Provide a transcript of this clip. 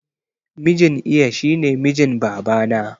Mijin iya shine mijin babana